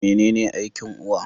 Mene ne aikin uwa?